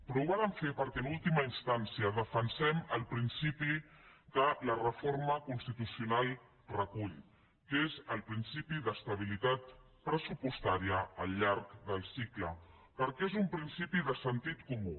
però ho vàrem fer perquè en última instància defensem el principi que la reforma constitucional recull que és el principi d’estabilitat pressupostària al llarg del cicle perquè és un principi de sentit comú